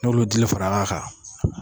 N'olu dili farala a kan